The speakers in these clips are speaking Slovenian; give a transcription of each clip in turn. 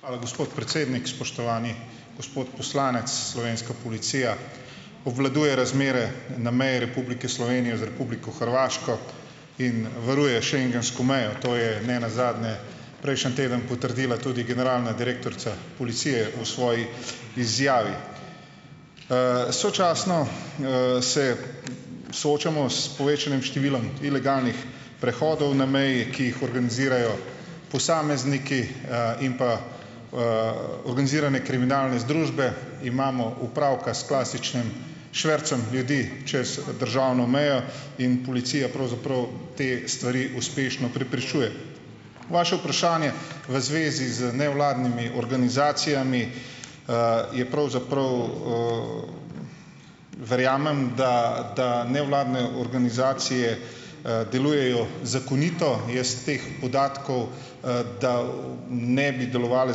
Hvala, gospod predsednik! Spoštovani gospod poslanec! Slovenska policija obvladuje razmere na meji Republike Slovenije z Republiko Hrvaško in varuje schengensko mejo. To je ne nazadnje prejšnji teden potrdila tudi generalna direktorica policije v svoji izjavi. Sočasno, se soočamo s povečanim številom ilegalnih prehodov na meji, ki jih organizirajo posamezniki, in pa organizirane kriminalne združbe. Imamo opravka s klasičnim švercem ljudi čez državno mejo in policija pravzaprav te stvari uspešno preprečuje. Vaše vprašanje v zvezi z nevladnimi organizacijami, je pravzaprav, verjamem, da da nevladne organizacije, delujejo zakonito. Jaz teh podatkov, da ne bi delovale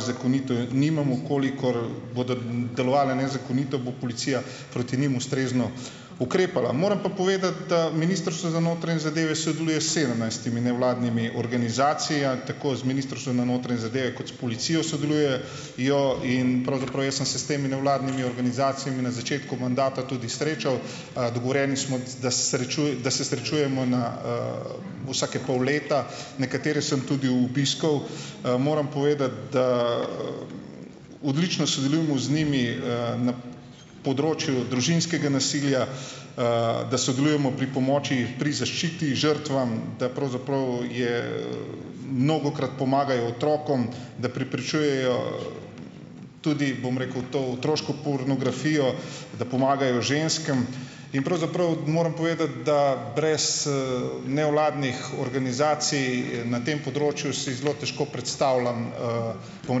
zakonito, nimam. V kolikor bodo delovale nezakonito, bo policija proti njim ustrezno ukrepala. Moram pa povedati, da Ministrstvo za notranje zadeve sodeluje s sedemnajstimi nevladnimi organizacijami, tako z Ministrstvom za notranje zadeve kot s policijo sodeluje jo in pravzaprav, jaz sem se s temi nevladnimi organizacijami na začetku mandata tudi srečal. Dogovorjeni smo, da da se srečujemo na vsake pol leta. Nekatere sem tudi obiskal. Moram povedati, da odlično sodelujemo z njimi, na področju družinskega nasilja, da sodelujemo pri pomoči, pri zaščiti žrtvam, da pravzaprav je, mnogokrat pomagajo otrokom, da preprečujejo tudi, bom rekel, to otroško pornografijo, da pomagajo ženskam, in pravzaprav moram povedati, da brez, nevladnih organizacij na tem področju, si zelo težko predstavljam, bom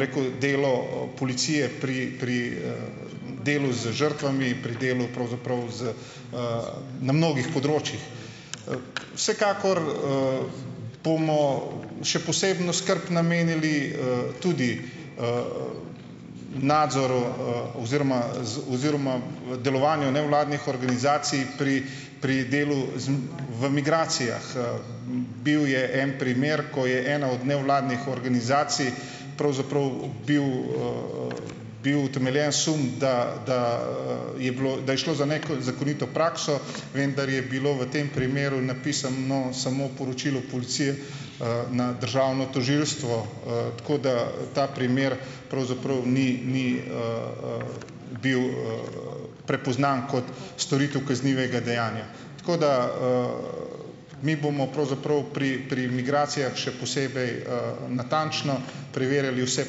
rekel, delo policije pri pri delu z žrtvami pri delu pravzaprav, z, na mnogih področjih. Vsekakor bomo še posebno skrb namenili, tudi nadzoru, oziroma oziroma delovanju nevladnih organizacij pri pri delu v migracijah. Bil je en primer, ko je ena od nevladnih organizacij, pravzaprav bil bil utemeljen sum, da da, je bilo, da je šlo za neko zakonito prakso, vendar je bilo v tem primeru napisano samo poročilo policije, na državno tožilstvo, tako da, da primer bil prepoznan kot storitev kaznivega dejanja. Tako da mi bomo pravzaprav pri pri migracijah še posebej, natančno preverili vse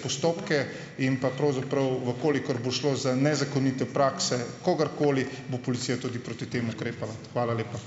postopke in pa pravzaprav, v kolikor bo šlo za nezakonite prakse kogarkoli, bo policija tudi proti tem ukrepala. Hvala lepa.